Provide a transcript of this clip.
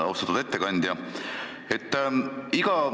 Austatud ettekandja!